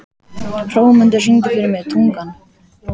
Hrómundur, syngdu fyrir mig „Tungan“.